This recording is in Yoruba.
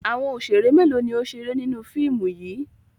Àwọn òṣèrè mélòó ni ó ń ṣeré nínú fíìmù yìí?